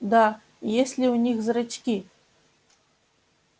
да и есть ли у них зрачки